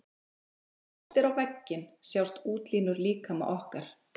Þegar horft er á vegginn sjást útlínur líkama okkar.